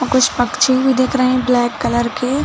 और कुछ पंक्षी भी दिख रहे है ब्लैक कलर के--